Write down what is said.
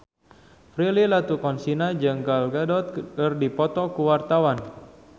Prilly Latuconsina jeung Gal Gadot keur dipoto ku wartawan